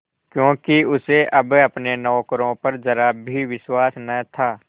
क्योंकि उसे अब अपने नौकरों पर जरा भी विश्वास न था